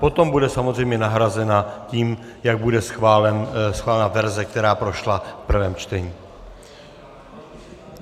Potom bude samozřejmě nahrazena tím, jak bude schválena verze, která prošla v prvém čtení.